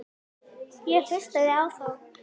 Ég hlustaði á þá.